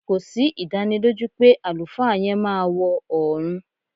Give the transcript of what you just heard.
Kò sí ìdánilójú pé àlùfáà yẹn máa wọ ọ̀ọ̀run